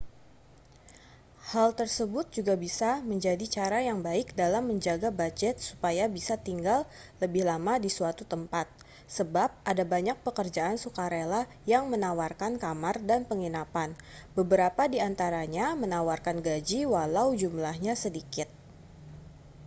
hal tersebut juga bisa menjadi cara yang baik dalam menjaga bujet supaya bisa tinggal lebih lama di suatu tempat sebab ada banyak pekerjaan sukarela yang menawarkan kamar dan penginapan beberapa di antaranya menawarkan gaji walau jumlahnya sedikit